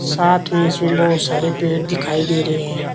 साथ में इसमें बहुत सारे पेड़ दिखाई दे रहे हैं।